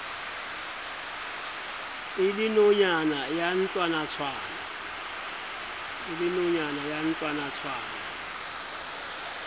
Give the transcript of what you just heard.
e le nonyana ya ntlwanatshwana